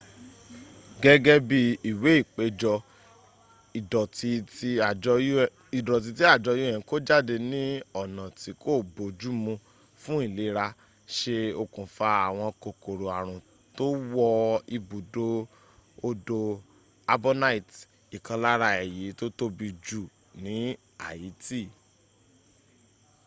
gẹ́gẹ́ bí ìwé ìpéjọ́ ìdọ̀tí tí àjọ un kó jáde ní ọ̀nà tí kó boójú mú fún ìlera ṣe okùnfà àwọn kòkòrò àrùn tó wọ ibùdó odò artbonite ìkan lára èyí tó tóbi jù ní haiti